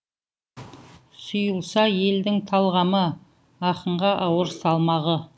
сұйылса елдің талғамы ақынға ауыр салмағы